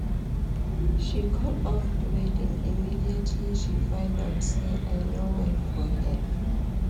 She call off the wedding immediately she find out say I no well for head